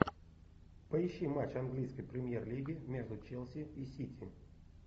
поищи матч английской премьер лиги между челси и сити